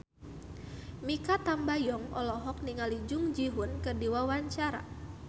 Mikha Tambayong olohok ningali Jung Ji Hoon keur diwawancara